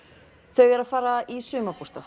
þau eru að fara í sumarbústað